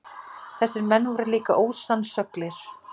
Þessir menn voru líka ósannsöglir.